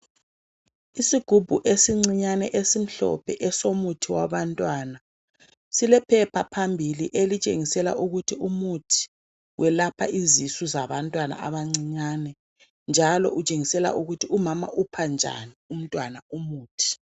Isigubhu esincinyane esimhlophe esomuthi wabantwana. Silephepha phambili, elitshengisela ukuthi umuthi welapha izisu zabantwana abancinyane, njalo utshengisela ukubana umama upha njani umntwana umuthi.